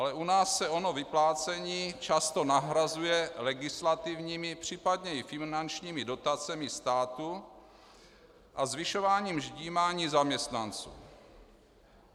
Ale u nás se ono vyplácení často nahrazuje legislativními, případně i finančními dotacemi státu a zvyšováním ždímání zaměstnanců.